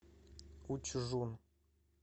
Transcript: учжун